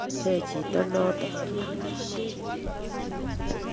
katepe chito noto